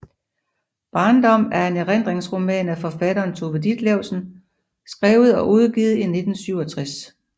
Barndom er en erindringsroman af forfatteren Tove Ditlevsen skrevet og udgivet i 1967